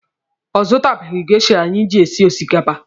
Ọ zụtabeghi geisha anyị ji esi osikapa.